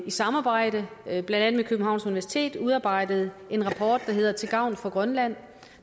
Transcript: samarbejde med blandt andet københavns universitet udarbejdet en rapport der hedder til gavn for grønland